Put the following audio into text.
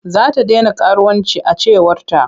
Za ta dena karuwanci a cewarta.